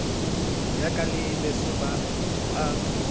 yaka le beso ba a